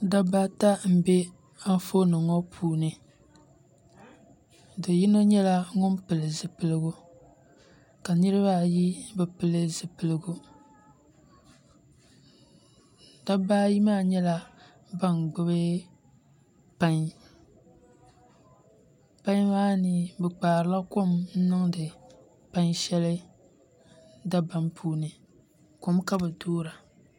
Dabba ata n bɛ anfooni ŋo puuni do yino nyɛla ŋun pili zipiligu ka niraba ayi maa bi pili zipiligu dabba ayi maa nyɛla ban gbubi pai pai maa ni bi kpaarila kom n niŋdi pai shɛli dabam puuni kom ka bi toora